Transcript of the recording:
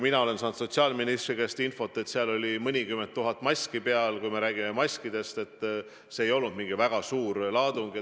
Mina olen sotsiaalministri käest saanud infot, et lennuki peal oli mõnikümmend tuhat maski, et see ei olnud mingi väga suur laadung.